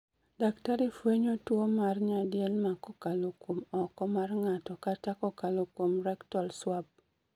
Daktari fwenyo tuwo mar nyadielma kokalo kuom oko mar ng'ato kata kokalo kuom rectal swab